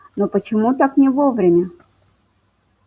но почему так не вовремя